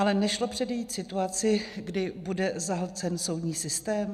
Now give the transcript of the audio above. Ale nešlo předejít situaci, kdy bude zahlcen soudní systém?